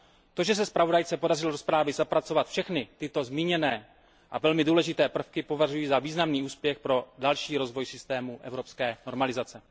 To, že se zpravodajce podařilo do zprávy zapracovat všechny tyto zmíněné a velmi důležité prvky, považuji za významný úspěch pro další rozvoj systému evropské normalizace.